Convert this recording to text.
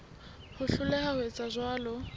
ho hloleha ho etsa jwalo